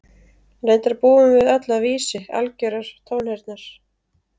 reyndar búum við öll að vísi algjörrar tónheyrnar